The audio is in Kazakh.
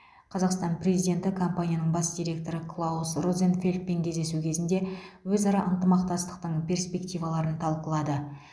қазақстан президенті компанияның бас директоры клаус розенфельдпен кездесу кезінде өзара ынтымақтастықтың перспективаларын талқылады